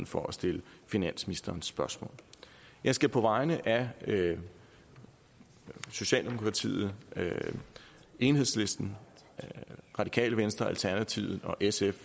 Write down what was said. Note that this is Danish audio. for at stille finansministeren spørgsmål jeg skal på vegne af socialdemokratiet enhedslisten radikale venstre alternativet og sf